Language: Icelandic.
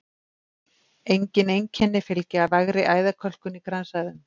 Engin einkenni fylgja vægri æðakölkun í kransæðum.